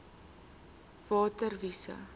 nsri water wise